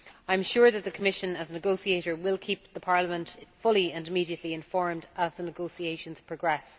I am sure the Commission, as negotiator, will keep Parliament fully and immediately informed as the negotiations progress.